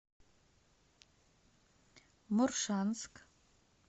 моршанск